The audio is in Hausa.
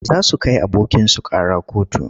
Za su kai abokinsu ƙara kotu.